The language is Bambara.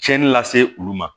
Cɛnni lase olu ma